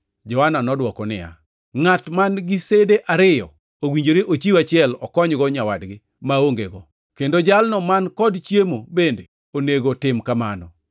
Johana nodwoko niya, “Ngʼat man-gi sede ariyo owinjore chiw achiel okonygo nyawadgi ma ongego, kendo jalno man kod chiemo bende onego tim kamano.”